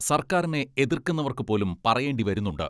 സർക്കാരിനെ എതിർക്കുന്നവർക്ക് പോലും പറയേണ്ടി വരുന്നുണ്ട്.